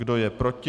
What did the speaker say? Kdo je proti?